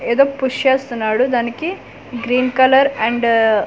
ఏదో పుష్ చేస్తున్నాడు దానికి గ్రీన్ కలర్ అండ్ .